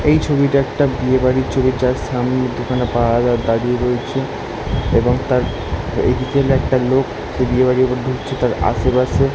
এই ছবি টা একটা বিয়ে বাড়ির ছবি যার সামনে দুখানা পাহারাদার দাঁড়িয়ে রয়েছে এবং তার এইদিকে একটা লোক সে বিয়েবাড়ির মধ্যে তার আসেপাশে --